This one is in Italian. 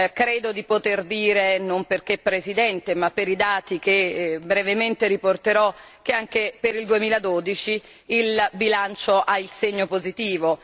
Credo di poter dire, non perché presidente, ma per i dati che brevemente riporterò, che anche per il 2012 il bilancio ha il segno positivo.